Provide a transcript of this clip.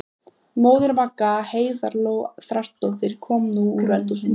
Móðir Magga, Heiðló Þrastardóttir, kom nú úr eldhúsinu.